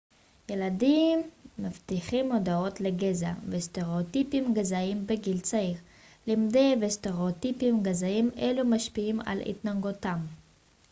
ילדים מפתחים מודעות לגזע וסטראוטיפים גזעיים בגיל צעיר למדי וסטראוטיפים גזעיים אלו משפיעים על התנהגותם